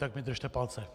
Tak mi držte palce.